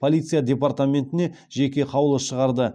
полиция департаментіне жеке қаулы шығарды